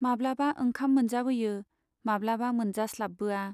माब्लाबा ओंखाम मोनजाबोयो , माब्लाबा मोनजास्लाबबोआ।